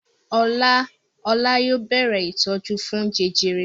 Ọlá yóò bẹ̀rẹ̀ ìtọ́jú fún jẹjẹrẹ.